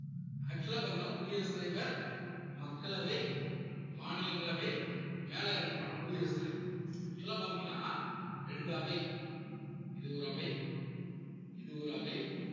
actual ஆ பாத்தீங்கன்னா குடியரசுத் தலைவர், மக்களவை, மாநிலங்களவை, மேலை அமைப்பான குடியரசுத் தலைவர் actual ஆ பாத்தீங்கன்னா ரெண்டு அவை இது ஒரு அவை இது ஒரு அவை